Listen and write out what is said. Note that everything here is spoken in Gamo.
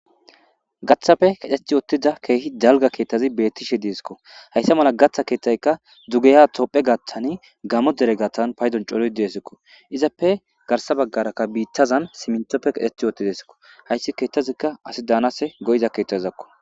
gaththappe kadheth yoottida keehi dalga keettazi bettishe deesikko hayssa mala gatha keeththaykka dzugeya topphe gaaththan gamo dere gathtan paydon coloy deesikko izappe garsa baggarakka biittazan simintoppe qadheth yoottidesikko hayssi keettazikka asi daanase go7iza keetthazizakko